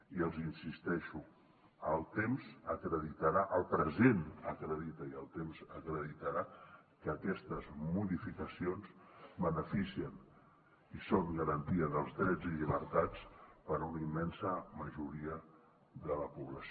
i els hi insisteixo el present acredita i el temps acreditarà que aquestes modificacions beneficien i són garantia dels drets i llibertats per a una immensa majoria de la població